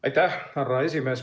Aitäh, härra esimees!